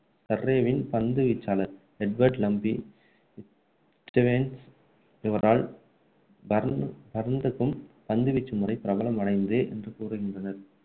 பந்து வீச்சாளர், Edward Lumpy Stevens, இவரால் பரந்க்கும் பந்து வீச்சு முறை பிரபலம் அடைந்தது என்று கூறுகின்றனர்